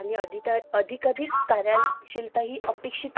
Ashok association Devanagari Ashoka मगधांचा मौर्य मौर्य वंशातील